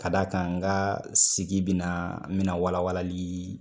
Ka da kan n ka sigi bina n bina walawalali